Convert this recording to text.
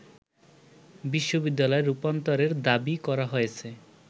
বিশ্ববিদ্যালয়ে রূপান্তরের দাবি করা হয়েছে